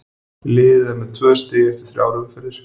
Liðið er með tvö stig eftir þrjár umferðir.